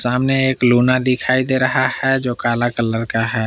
सामने एक लूना दिखाई दे रहा है जो काला कलर का है।